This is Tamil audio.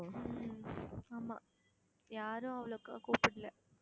உம் ஆமா யாரும் அவ்வளவுக்கா கூப்பிடல